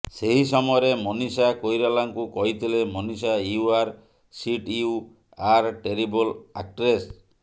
ସେହି ସମୟରେ ମନୀଷା କୋଇରାଲାଙ୍କୁ କହିଥିଲେ Manisha you are shit you are terrible actress